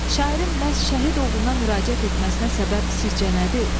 Şairin məhz şəhid oğluna müraciət etməsinə səbəb sizcə nədir?